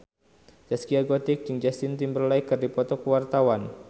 Zaskia Gotik jeung Justin Timberlake keur dipoto ku wartawan